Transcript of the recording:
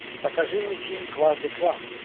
покажи мне фильм кважды ква